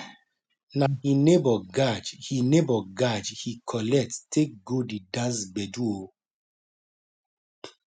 na he neibor gajj he neibor gajj he collect take go the dance gbedu o